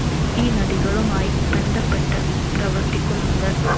ഈ നദികളുമായി ബന്ധപ്പെട്ട് പ്രവർത്തിക്കുന്നുണ്ട്.